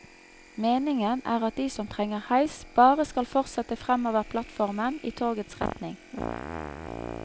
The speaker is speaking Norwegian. Meningen er at de som trenger heis bare skal fortsette fremover plattformen i togets retning.